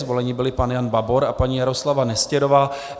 Zvoleni byli pan Jan Babor a paní Jaroslava Nestěrová.